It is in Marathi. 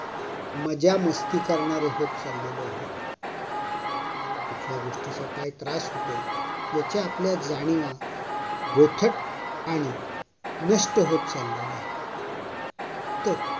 मजामस्ती करणारे होत चललेलो आहोत. लोकांना कुठल्या गोष्टीचा काय त्रास होतोय याच्या आपल्या जाणिवा बोथट आणि नष्ट होत चाललेल्या आहेत. तर,